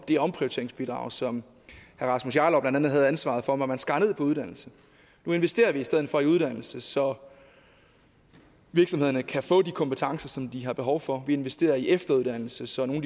det omprioriteringsbidrag som herre rasmus jarlov blandt andet havde ansvaret for hvor man skar ned på uddannelse nu investerer vi i stedet for i uddannelse så virksomhederne kan få de kompetencer som de har behov for vi investerer i efteruddannelse så nogle